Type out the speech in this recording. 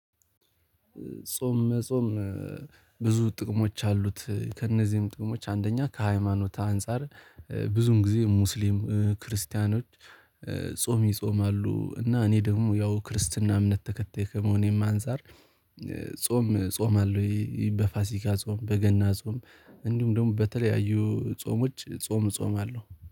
ጾም መጾም ብዙ ጥቅሞች አሉት። ከእነዚህም ጥቅሞች አንደኛ ከሃይማኖት አንፃር ብዙን ጊዜ ሙስሊም ክርስቲያኖች ጾም ይጾማሉ። እና እኔ ደግሞ ያው ክርስትና እምነት ተከታይ ከመሆኔም አንፃር ጾም ጾማለው። በፋሲካ ጾም በገና ጾም እንዲሁም ደግሞ በተለያዩ ጾሞች ጾም እፆማለው አለው